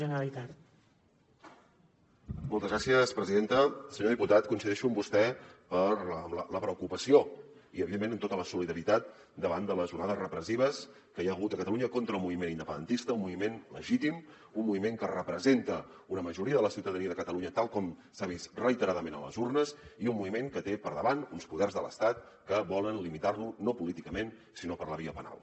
senyor diputat coincideixo amb vostè en la preocupació i evidentment amb tota la solidaritat davant de les onades repressives que hi ha hagut a catalunya contra el moviment independentista un moviment legítim un moviment que representa una majoria de la ciutadania de catalunya tal com s’ha vist reiteradament a les urnes i un moviment que té per davant uns poders de l’estat que volen limitar lo no políticament sinó per la via penal